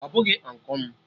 Ọ bụghị Ụnkụ m